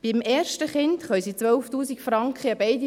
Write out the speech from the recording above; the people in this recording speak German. Beim ersten Kind können sie 12 000 Franken abziehen.